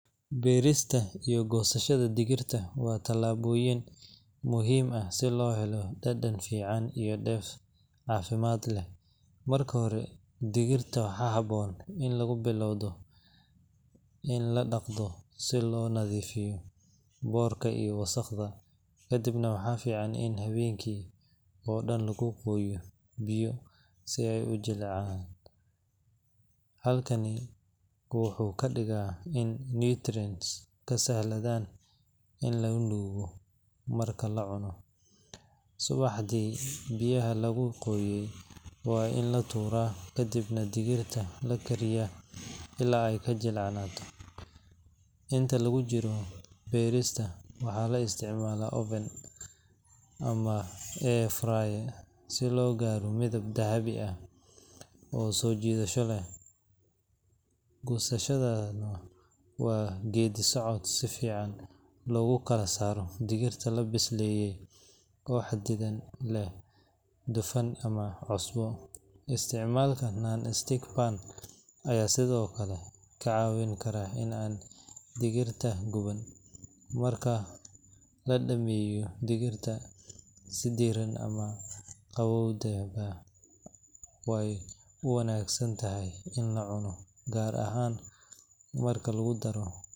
Berista iyo gosashadda digirta waa tallaabooyin muhiim ah si loo helo dhadhan fiican iyo dheef caafimaad leh. Marka hore, digirta waxaa habboon in lagu bilowdo in la dhaqdo si loo nadiifiyo boorka iyo wasakhda. Kadibna waxaa fiican in habeenkii oo dhan lagu qooyo biyo si ay u jilcaan. Habkani wuxuu ka dhigaa in nutrients ka sahlanaadaan in la nuugo marka la cuno. Subaxdii, biyaha lagu qooyay waa in la tuuraa, kadibna digirta la kariyaa illaa ay ka jilcanaato. Inta lagu jiro berista, waxaa la isticmaalaa oven ama air fryer si loo gaaro midab dahabi ah oo soo jiidasho leh. Gosashaduna waa geeddi-socod si fiican loogu kala saaro digirta la bisleeyay oo xadidan leh dufan ama cusbo. Isticmaalka non-stick pan ayaa sidoo kale ka caawin kara in aan digirta guban. Marka la dhammeeyo, digirta si diiran ama qabowba way u wanaagsan tahay in la cuno, gaar ahaan marka lagu daro.